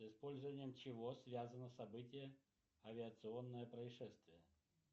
с использованием чего связано событие авиационное происшествие